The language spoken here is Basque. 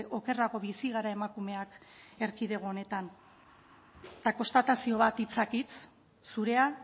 okerrago bizi gara emakumeak erkidego honetan eta konstatazio bat hitzak hitz zurea